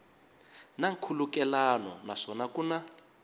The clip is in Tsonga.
na nkhulukelano naswona ku na